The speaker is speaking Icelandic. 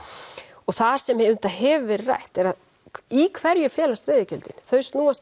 og það sem hefur verið rætt er í hverju felast veiðigjöldin þau snúast